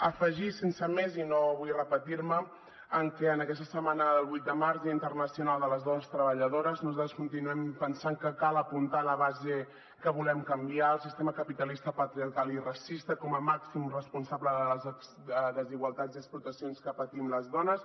afegir sense més i no vull repetir me que aquesta setmana del vuit de març dia internacional de les dones treballadores nosaltres continuem pensant que cal apuntar la base que volem canviar el sistema capitalista patriarcal i racista com a màxim responsable de les desigualtats i explotacions que patim les dones